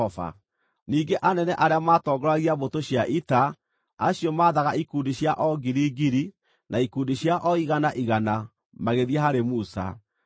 nao makĩmwĩra atĩrĩ, “Ndungata ciaku nĩitarĩte thigari iria twathaga na hatirĩ o na ũmwe ũtarĩ ho.